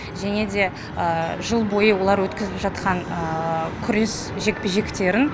және де жыл бойы олар өткізіп жатқан күрес жекпе жектерін